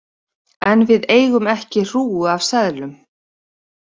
En við eigum ekki hrúgu af seðlum.